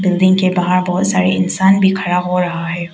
नदी के बाहर बहोत सारे इंसान भी खड़ा रहा रहा है।